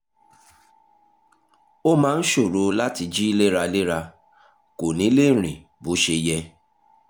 ó máa ń ṣòro láti jí léraléra; kò ní lè rìn bó ṣe yẹ